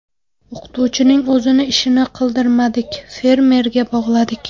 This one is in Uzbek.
O‘qituvchining o‘zini ishini qildirmadik, fermerga bog‘ladik.